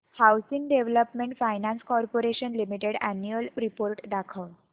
housing development finance corporation limited annual report दाखव